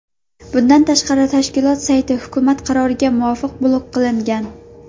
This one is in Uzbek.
Bundan tashqari, tashkilot sayti hukumat qaroriga muvofiq blok qilingan.